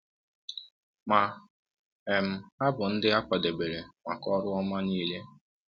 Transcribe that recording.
Ma um ha bụ ndị a kwadebere maka ọrụ ọma niile.